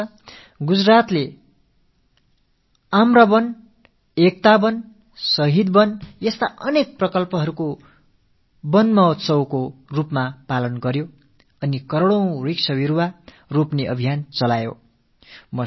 இந்த ஆண்டு குஜராத்தில் மாமர வனம் ஏகதா வனம் ஷஹீத் வனம் என பலவகைகளிலும் திட்டங்கள் தீட்டப்பட்டிருக்கின்றன இதில் பல கோடி மரக்கன்றுகள் நடும் பணி மேற்கொள்ளப்பட்டது